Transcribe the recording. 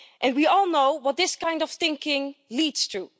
We all know what this kind of thinking leads to.